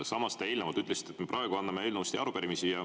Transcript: Samas te eelnevalt ütlesite, et me praegu anname üle eelnõusid ja arupärimisi.